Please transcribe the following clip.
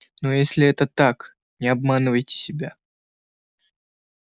но если это так не обманывайте себя